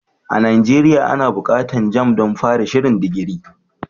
A Nigeria ana buƙatar jamb don fara shirin digiri.